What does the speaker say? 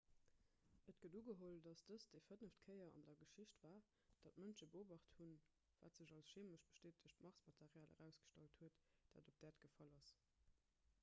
et gëtt ugeholl datt dëst déi fënneft kéier an der geschicht war datt mënsche beobacht hunn wat sech als cheemesch bestätegt marsmaterial erausgestallt huet dat op d'äerd gefall ass